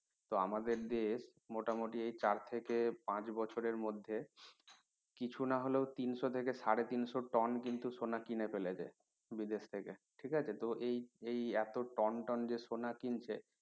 তো আমাদের দেশ মোটামুটি এই চার থেকে পাঁচ বছরের মধ্যে কিছু নাহলে ও তিনশ থেকে সাড়ে তিনশ টন কিন্তু সোনা কিনে ফেলেছে বিদেশ থেকে ঠিক আছে তো এই এই এত টন টন যে সোনা কিনছে